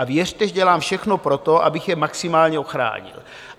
A věřte, že dělám všechno pro to, abych je maximálně ochránil.